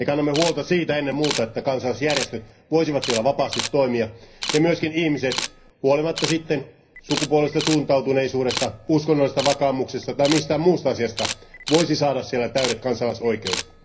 Me kannamme huolta ennen muuta siitä, että kansalaisjärjestöt voisivat siellä vapaasti toimia ja myös ihmiset huolimatta sukupuolisesta suuntautuneisuudesta, uskonnollisesti vakaumuksesta tai mistään muusta asiasta voisivat saada siellä täydet kansalaisoikeudet.